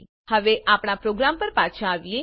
હવે આપણા પ્રોગ્રામ પર પાછા આવીએ